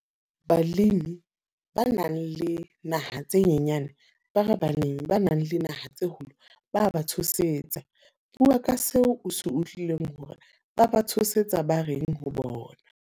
Balemi ba nang le naha tse nyenyane, ba re balemi ba nang le naha tse kgolo, ba ba tshosetsa. Bua ka seo o se utlwileng hore ba ba tshosetsa ba reng ho bona.